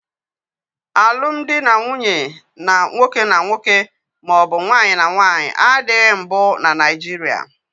Alumdị na nwunye nwoke na nwoke maọbụ nwaanyị na nwaanyị adịghị mbụ na Naijiria